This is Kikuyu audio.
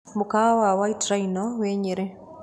Mũkawa wa White Rhino wĩ Nyeri.